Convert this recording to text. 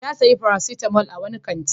Ya sayo paracetamol a wani kanti.